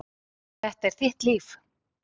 Þetta er þitt líf!